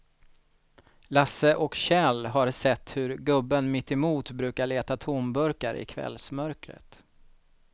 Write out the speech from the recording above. Lasse och Kjell har sett hur gubben mittemot brukar leta tomburkar i kvällsmörkret.